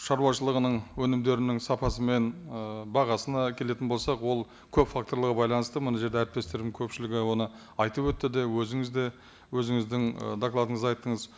шаруашылығының өнімдерінің сапасы мен ы бағасына келетін болсақ ол көп факторларға байланысты мына жерде әріптестерім көпшілігі оны айтып өтті де өзіңіз де өзіңіздің ы докладыңызда айттыңыз